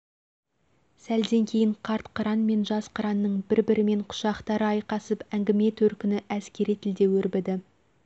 сәлден кейін қарт қыран мен жас қыранның бір-бірімен құшақтары айқасып әңгіме төркіні әскери тілде өрбіді